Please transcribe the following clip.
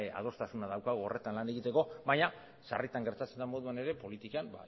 adostasuna daukagu horretan lan egiteko baina sarritan gertatzen den moduan ere politikan